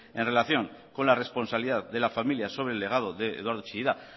en relación con la responsabilidad de la familia sobre el legado de eduardo chillida